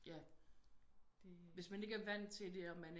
Ja hvis man ikke er vant til det og man